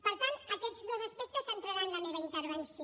per tant aquests dos aspectes centraran la meva intervenció